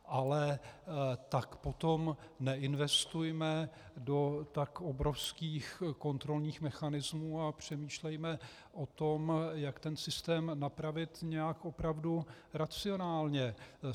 Ale tak potom neinvestujme do tak obrovských kontrolních mechanismů a přemýšlejme o tom, jak ten systém napravit nějak opravdu racionálně.